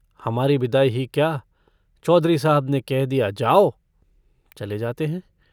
हमारी बिदाई ही क्या चौधरी साहब ने कह दिया जाओ चले जाते हैं।